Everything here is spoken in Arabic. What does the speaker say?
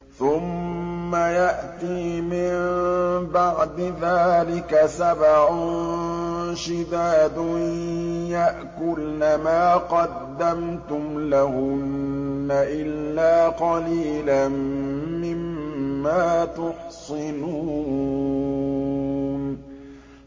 ثُمَّ يَأْتِي مِن بَعْدِ ذَٰلِكَ سَبْعٌ شِدَادٌ يَأْكُلْنَ مَا قَدَّمْتُمْ لَهُنَّ إِلَّا قَلِيلًا مِّمَّا تُحْصِنُونَ